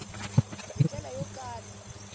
hi ndlela yo kala yi